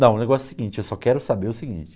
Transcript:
Não, o negócio é o seguinte, eu só quero saber o seguinte.